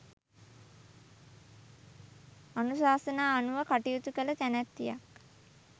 අනුශාසනා අනුව කටයුතු කළ තැනැත්තියක්.